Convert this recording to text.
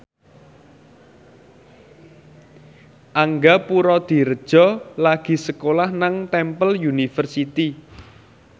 Angga Puradiredja lagi sekolah nang Temple University